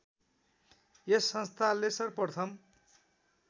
यस संस्थाले सर्वप्रथम